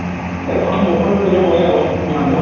এইখন মোৰখন লৈ যাব নোৱাৰি আকৌ